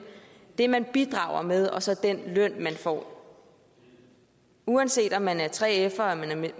det man bidrager med og så den løn man får uanset om man er 3fer